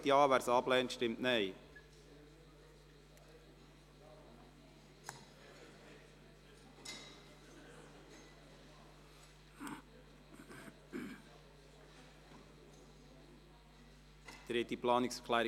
Zu Ziel 5: Der Regierungsrat wird aufgefordert, das Thema Klimawandel und nachhaltige Wassernutzung im Ziel 5 («Nachhaltige Entwicklung») der Richtlinien zu berücksichtigen und konkrete Massnahmen in Zusammenarbeit mit Forschung und Wirtschaft zu prüfen.